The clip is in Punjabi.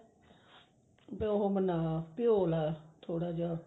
ਉਹ ਆਪਣਾ ਭਿਉਂ ਲਾ ਥੋੜਾ ਜਾ